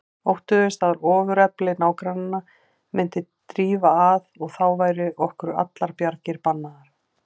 Óttuðust að ofurefli nágranna myndi drífa að og að þá væru okkur allar bjargir bannaðar.